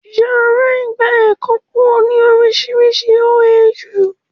Yàrá ìgba ẹ̀kọ́ pọ̀ ní orísìírísìí ní OAU